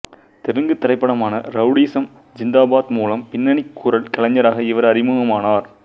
தெலுங்கு திரைப்படமான ரவுடிசம் ஜிந்தாபாத் மூலம் பின்னணிக் குரல் கலைஞராக இவர் அறிமுகமானார்